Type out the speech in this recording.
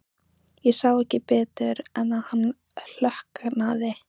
Ég sá ekki betur en að hann klökknaði.